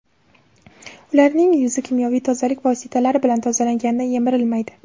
Ularning yuzi kimyoviy tozalik vositalari bilan tozalanganida yemirilmaydi.